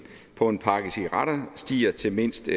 på en pakke cigaretter stiger til mindst